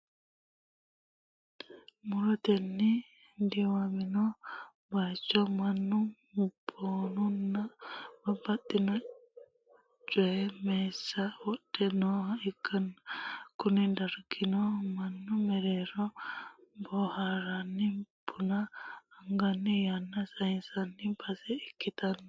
murotenni diwamino bayiicho mannu bunanna babbaxino coye masse wodhe nooha ikkanna, kuni dargino mannu mare boohaaranni buna aganni yanna sayiisanno base ikkitanno.